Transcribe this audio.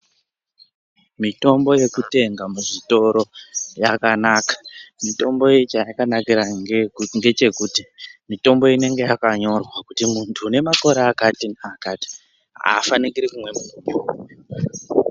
Mitombo yeku tenga mu zvitoro yakanaka mitombo iyi chayaka nakira ngechekuti mitombo inenge yaka nyorwa kuti muntu une makore akati ne akati afanikiri kumwe mutombo uyu.